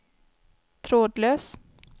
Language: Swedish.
trådlös